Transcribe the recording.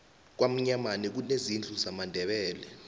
kwamnyamana kunezindlu zamandebele